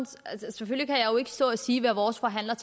selvfølgelig kan jeg jo ikke stå og sige hvad vores forhandler